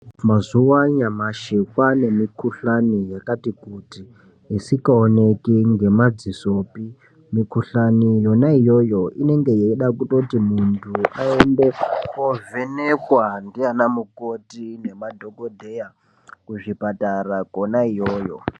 Mazuva anyamashi kwaane mikuhlani yakati kuti isingaoneki ngemadzisopi. Mikuhlani yona iyoyo inenge yeichada kutoti muntu aende koovhenekwa ndiana mukoti nemadhogodheya kuzvipatara kona iyoyo.